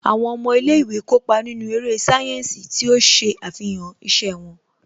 Àwọn ọmọ ilé ìwé kópa nínú eré sáyẹ́ǹsì tí ó ṣe àfihàn iṣẹ́ wọn